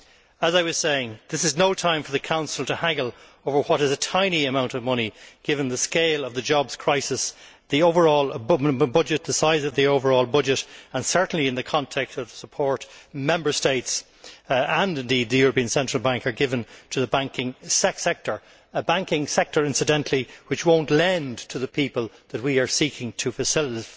As I was saying, this is no time for the Council to haggle over what is a tiny amount of money given the scale of the jobs crisis, the size of the overall budget and certainly in the context of the support that Member States, and indeed the European Central Bank, have given to the banking sector a banking sector, incidentally, which will not lend to the people that we are seeking to facilitate.